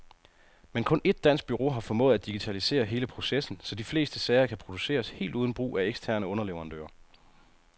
Men kun et dansk bureau har formået at digitalisere hele processen, så de fleste sager kan produceres helt uden brug af eksterne underleverandører.